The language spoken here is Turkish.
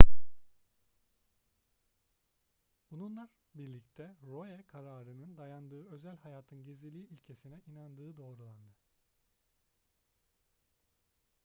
bununlar birlikte roe kararının dayandığı özel hayatın gizliliği ilkesine inandığını doğruladı